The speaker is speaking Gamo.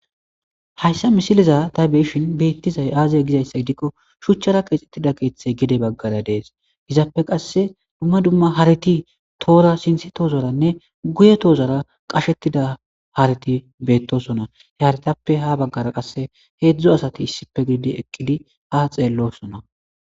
hayssa misiliza ta beyishin beettizay aazie gizayssa gidikko shuchchara qeexettida keeththey gede baggara dees gizaappe qasse dumma dumma hariti toora sinti toozoranne guye toozora qashettida hareti beettosona heyaretappe ha baggara qasse heedzdzo asati issippe giidi eqqidi ha xeellosona